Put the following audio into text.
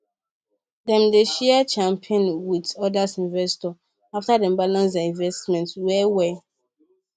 dem dey share champagne with other investors after dem balance their investment well well